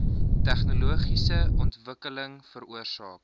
tegnologiese ontwikkeling veroorsaak